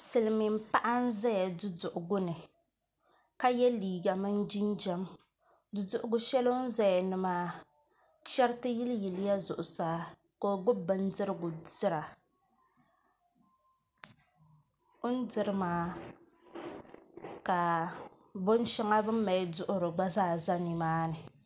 Silmiin paɣa n ʒɛya duduɣugu ni ka yɛ liiga mini jinjɛm duduɣugu shɛli ni o ni ʒɛya maa chɛriti yiliyilla zuɣusaa ka o gbubi bindirigu dira o ni diri maa ka binshɛŋa bini mali duɣuri gba zaa ʒɛ nimaani